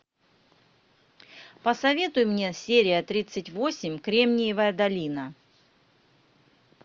посоветуй мне серия тридцать восемь кремниевая долина